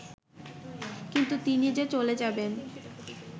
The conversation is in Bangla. কিন্তু তিনি যে চলে যাবেন